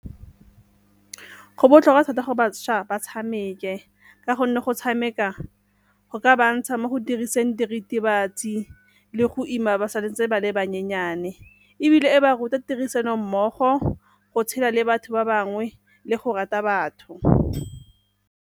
Go botlhokwa thata gore bašwa ba tshameke ka gonne go tshameka go ka ba ntsha mo go diriseng diritibatsi le go ima ba sa ntse ba le bannyenyane, ebile e ba ruta tirisanommogo go tshela le batho ba bangwe le go rata batho.